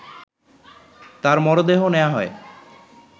তার মরদেহ নেয়া হয়